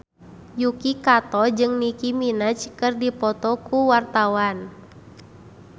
Yuki Kato jeung Nicky Minaj keur dipoto ku wartawan